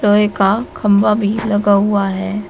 लोहे का खंबा भी लगा हुआ है।